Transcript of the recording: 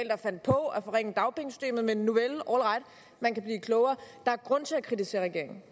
fandt på at forringe dagpengesystemet men nuvel all right man kan blive klogere der er grund til at kritisere regeringen